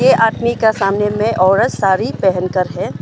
ये आदमी के सामने में औरत साड़ी पहन कर है।